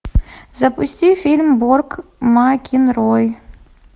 запусти фильм борг макинрой